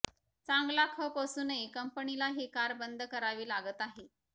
चांगला खप असूनही कंपनीला ही कार बंद करावी लागत आहे